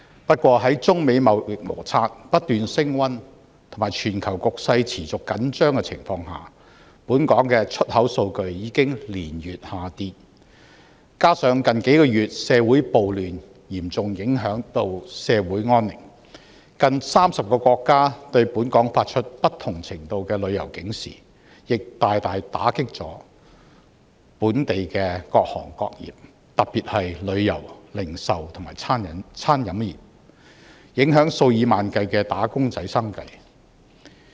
不過，在中美貿易摩擦不斷升溫和全球局勢持續緊張的情況下，本港的出口數據已經連月下跌，加上近數月社會暴亂，嚴重影響社會安寧，近30個國家對本港發出不同程度的旅遊警示，亦大大打擊本港的各行各業，特別是旅遊、零售和餐飲業，影響數以萬計的"打工仔"生計。